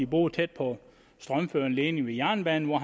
boede tæt på en strømførende ledning ved jernbanen og